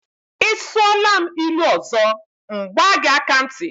Ị sụọla m ilu ọzọ, m gbaa gị aka ntị.